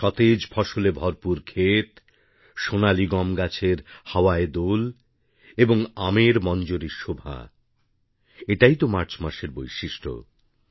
সতেজ ফসলে ভরপুর ক্ষেত সোনালী গমগাছের হাওয়ায় দোল এবং আমের মঞ্জরীর শোভা এটাই তো এই মাসের বৈশিষ্ট্য